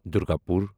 Durgapur